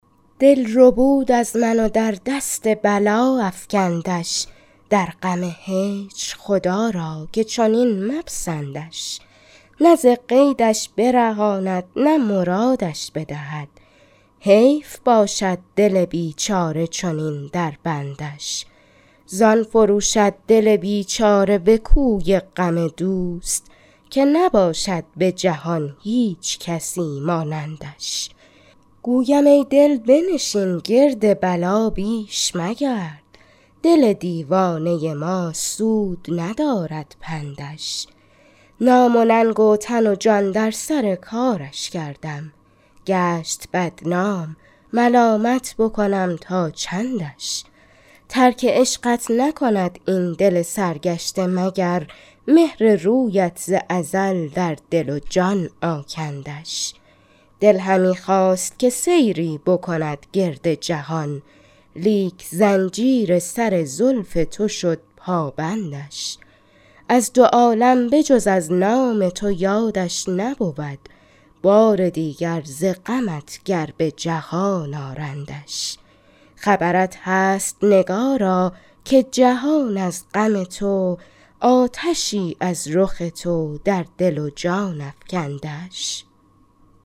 دل ربود از من و در دست بلا افکندش در غم هجر خدا را که چنین مپسندش نه ز قیدش برهاند نه مرادش بدهد حیف باشد دل بیچاره چنین در بندش زان فروشد دل بیچاره به کوی غم دوست که نباشد به جهان هیچکسی مانندش گویم ای دل بنشین گرد بلا بیش مگرد دل دیوانه ما سود ندارد پندش نام و ننگ و تن و جان در سر کارش کردم گشت بدنام ملامت بکنم تا چندش ترک عشقت نکند این دل سرگشته مگر مهر رویت ز ازل در دل و جان آکندش دل همی خواست که سیری بکند گرد جهان لیک زنجیر سر زلف تو شد پابندش از دو عالم بجز از نام تو یادش نبود بار دیگر ز غمت گر به جهان آرندش خبرت هست نگارا که جهان از غم تو آتشی از رخ تو در دل و جان افکندش